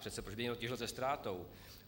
Přece proč by někdo těžil se ztrátou?